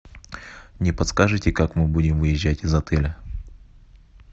не подскажете как мы будем выезжать из отеля